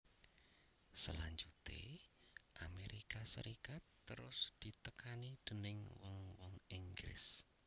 Salanjuté Amérika Sarékat terus ditekani déning wong wong Inggris